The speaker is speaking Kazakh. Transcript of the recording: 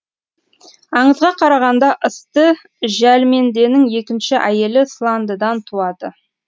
аңызға қарағанда ьісты жәлменденің екінші әйелі сландыдан туады